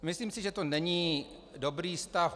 Myslím si, že to není dobrý stav.